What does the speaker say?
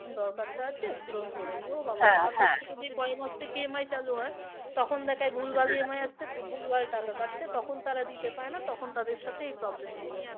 এখন দরকারটা আছে পূরণ করে নিই। ও বাবা পরের মাস থেকে EMI চালু হয় তখন দেখায় ভুলভাল আসছে ভুলভাল টাকা কাটছে তখন তারা দিতে পারে না তখন তাদের সাথে এই problem গুলো হয়